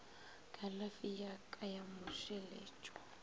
kalafi ya ka ya mmušeletšwa